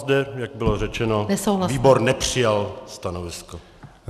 Zde, jak bylo řečeno, výbor nepřijal stanovisko.